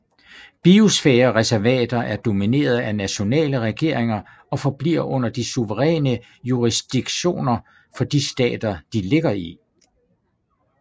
Biosfærereservater er nomineret af nationale regeringer og forbliver under de suveræne jurisdiktioner for de stater de ligger i